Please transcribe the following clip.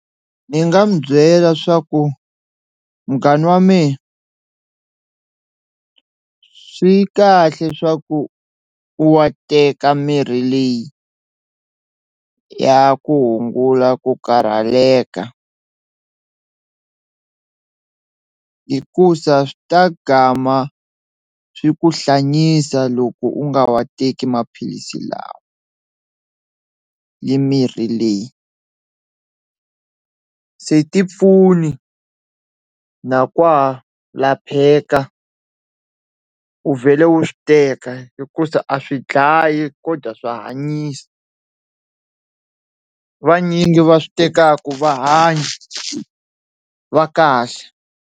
Ni nga mu byela swa ku munghana wa mina swi kahle swa ku u wa teka mirhi leyi ya ku hungula ku karhaleka hikusa swi ta swi ku hlanyisa loko u nga wa teki maphilisi lawa, ni mirhi leyi se ti pfuni na kwa lapheka u vhele u swi teka hikusa a swi dlayi kodwa swa hanyisa vanyingi va swi tekaka va hanya va kahle.